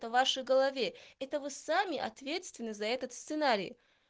это вашей голове это вы сами ответственны за этот сценарий